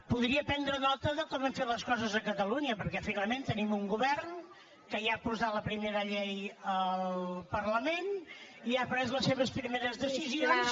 podria prendre nota de com hem fet les coses a catalunya perquè finalment tenim un govern que ja ha posat la primera llei al parlament i ha pres les seves primeres decisions